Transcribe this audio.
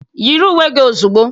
Yiri uwe gị ozugbo.